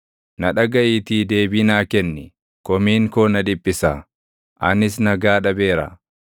Na dhagaʼiitii deebii naa kenni; komiin koo na dhiphisa; anis nagaa dhabeera.